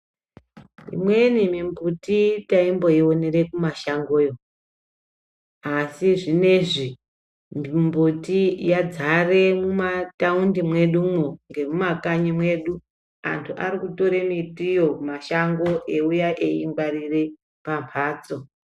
Imweni mimbuti tayi mboyionera ku mumashango asi zvinezvi mumbuti yadzare mumataundi mwedu mwo nemumakanyi mwedu antu arikutore mbitiyo mumashango eyiuya eyi ngwarira pamabhatso.